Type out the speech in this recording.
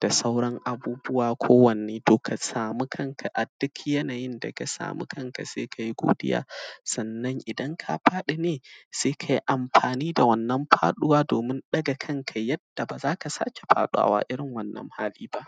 da sauran abubuwa kowanne, to ka samu kanka, a dik yanayin da ka sami kanka se ka yi godiya. Sannan, idan ka faɗi ne, se kai amfani da wannan faɗuwa domin ɗaga kanka yadda ba za ka sake faɗawa irin wannan hali ba.